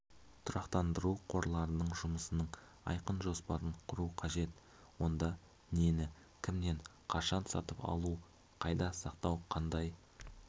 тұрақтандыру қорларының жұмысының айқын жоспарын құру қажет онда нені кімнен қашан сатып алу қайда сақтау қандай